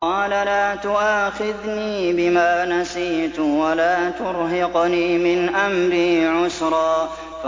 قَالَ لَا تُؤَاخِذْنِي بِمَا نَسِيتُ وَلَا تُرْهِقْنِي مِنْ أَمْرِي عُسْرًا